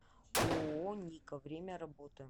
ооо ника время работы